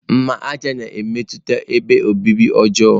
Mmaja na-emepụta ebe obibi ọjọọ.